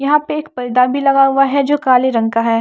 यहां पे एक परदा भी लगा हुआ है जो काले रंग का है।